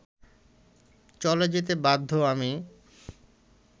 চলে যেতে বাধ্য আমি